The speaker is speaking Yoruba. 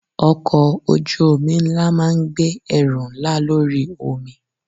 Ọkọ̀ ojú omi ńlá máa ń gbé ẹrù ńlá lórí omi.